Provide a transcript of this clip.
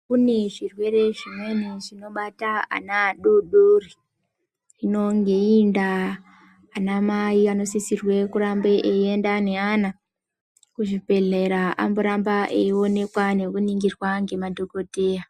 Kune zvi rwere zvimweni zvinobata ana adodori hino ngeiyi ndaa ana mai anosisirwe kurambe eyi enda ne ana ku zvibhedhlera amboramba eyi onekwa neku ningirwa nge madhokodheya.